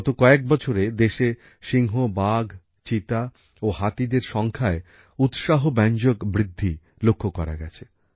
গত কয়েক বছরে দেশে সিংহ বাঘ চিতা ও হাতিদের সংখ্যায় উৎসাহব্যঞ্জক বৃদ্ধি লক্ষ্য করা গেছে